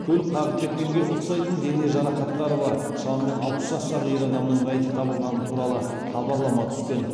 көлік қағып кеткенге ұқсайтын дене жарақаттары бар шамамен алпыс жастағы ер адамның мәйіті табылғаны туралы хабарлама түскен